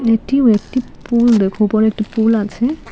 এটি ও একটি পুল দেখো উপরে একটি পুল আছে।